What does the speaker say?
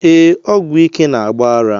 Ee, ọgwụ ike na-agba ara